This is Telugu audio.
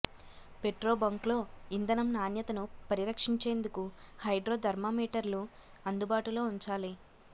పెట్రో బంకుల్లో ఇంధనం నాణ్యతను పరిరక్షించేందుకు హైడ్రో ధర్మా మీటర్లు అందుబాటులో ఉంచాలి